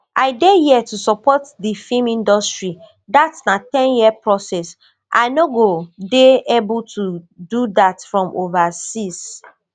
i dey hia to support di film industry dat na ten year process i no go dey able to do dat from overseas